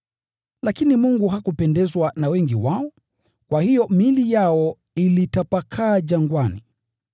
Lakini Mungu hakupendezwa na wengi wao, kwa hiyo miili yao ilitapakaa jangwani.